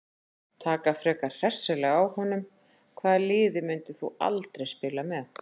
Taka frekar hressilega á honum Hvaða liði myndir þú aldrei spila með?